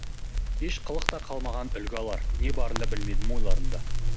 еш қылық та қалмаған үлгі алар не барында білмедім ойларында